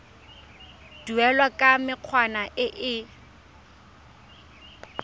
duelwa ka mekgwa e e